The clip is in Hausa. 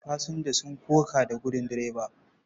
Fasinja sun koka da gudin direba.